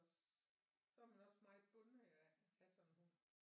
Os så er man også meget bundet af at have sådan en hund